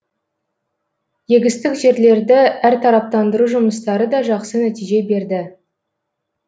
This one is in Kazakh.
егістік жерлерді әртараптандыру жұмыстары да жақсы нәтиже берді